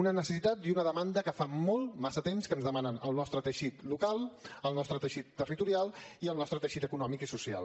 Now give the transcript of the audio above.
una necessitat i una demanda que fa molt massa temps que ens demanen el nostre teixit local el nostre teixit territorial i el nostre teixit econòmic i social